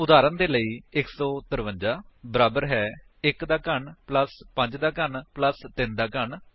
ਉਦਾਹਰਨ ਦੇ ਲਈ 153 ਬਰਾਬਰ ਹੈ 1 ਦਾ ਘਨ 5 ਦਾ ਘਨ 3 ਦਾ ਘਨ